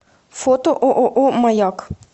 фото ооо маяк